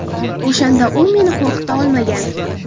O‘shanda u meni qo‘rqita olmagan.